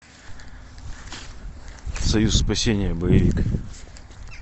союз спасения боевик